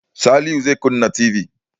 Salihu zai kunna TV.